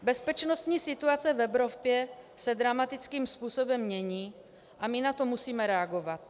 Bezpečnostní situace v Evropě se dramatickým způsobem mění a my na to musíme reagovat.